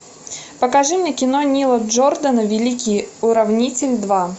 покажи мне кино нила джордана великий уравнитель два